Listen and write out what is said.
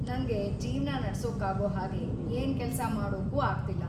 ನಂಗೆ ಜೀವ್ನ ನಡ್ಸೋಕಾಗೋ ಹಾಗೆ ಏನ್‌ ಕೆಲ್ಸ ಮಾಡೋಕೂ ಆಗ್ತಿಲ್ಲ.